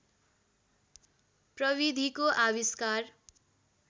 प्रविधिको आविष्कार